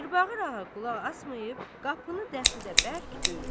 Mirbağır ağa qulaq asmayıb qapını dəxrədə bərk döyür.